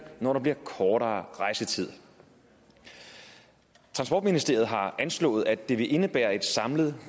når der bliver kortere rejsetid transportministeriet har anslået at det vil indebære et samlet